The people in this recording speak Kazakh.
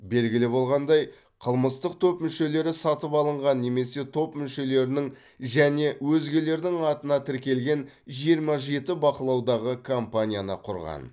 белгілі болғандай қылмыстық топ мүшелері сатып алынған немесе топ мүшелерінің және өзгелердің атына тіркелген жиырма жеті бақылаудағы компанияны құрған